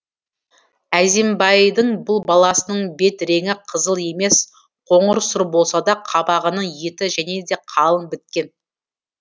әзімбайдың бұл баласының бет реңі қызыл емес қоңыр сұр болса да қабағының еті және де қалың біткен